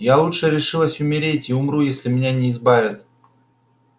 я лучше решилась умереть и умру если меня не избавят